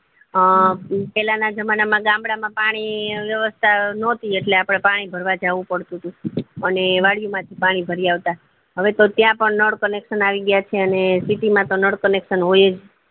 અ પેલા ના જમાનામાં ગામડા માં પાણી વ્યવસ્તા નોતી એટલે આપડે પાણી ભરવા જવું પડતું હતું અને વાડી માં થી પાણી ભરી આવતા હવે તો ત્યાં પણ નળ connection આવી ગયા છે અને city મતો નળ connection હોયજ